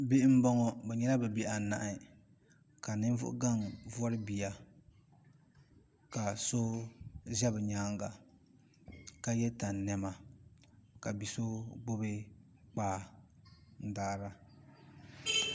Bihi m boŋɔ bɛ nyɛla bɛ bihi anahi ka ninvuɣu gaŋa vori bia ka so ʒɛ bɛ nyaanga ka ye tani niɛma ka bia so gbibi kpaa n daara.